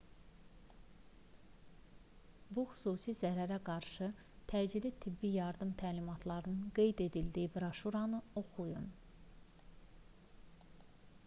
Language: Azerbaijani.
bu xüsusi zəhərə qarşı təcili tibbi yardım təlimatlarının qeyd edildiyi broşüranı oxuyun